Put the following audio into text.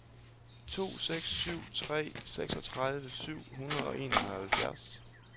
to seks syv tre seksogtredive syv hundrede og enoghalvfems